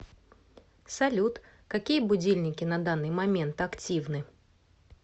салют какие будильники на данный момент активны